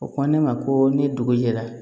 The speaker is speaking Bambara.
O ko ne ma ko ni dugu jɛra